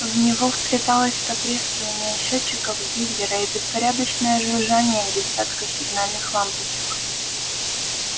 в него вплеталось потрескивание счётчиков гейгера и беспорядочное жужжание десятка сигнальных лампочек